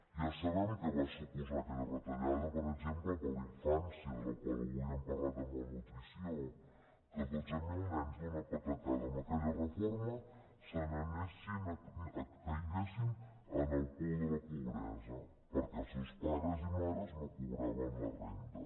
ja sabem què va suposar aquella retallada per exemple per a la infància de la qual avui hem parlat de malnutrició que dotze mil nens d’una patacada amb aquella reforma caiguessin en el pou de la pobresa perquè els seus pares i mares no cobraven la renda